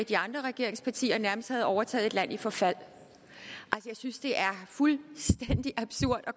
de andre regeringspartier nærmest havde overtaget et land i forfald jeg synes det er fuldstændig absurd